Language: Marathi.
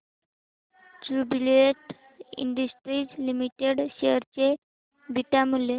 ज्युबीलेंट इंडस्ट्रीज लिमिटेड शेअर चे बीटा मूल्य